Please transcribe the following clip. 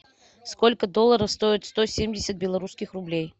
сколько долларов стоит сто семьдесят белорусских рублей